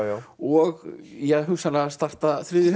og ja hugsanlega starta þriðju